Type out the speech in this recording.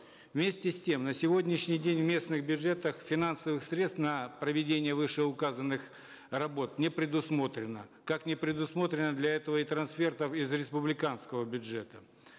вместе с тем на сегодняшний день в местных бюджетах финансовых средств на проведение вышеуказанных работ не предусмотрено как не предусмотрено для этого и трансфертов из республиканского бюджета